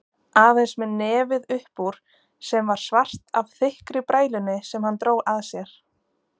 Aðeins með nefið uppúr sem var svart af þykkri brælunni sem hann dró að sér.